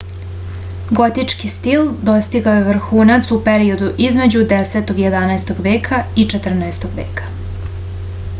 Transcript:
gotički stil dostigao je vrhunac u periodu između 10 - 11. veka i 14. veka